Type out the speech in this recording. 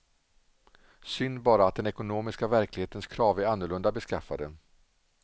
Synd bara att den ekonomiska verklighetens krav är annorlunda beskaffade.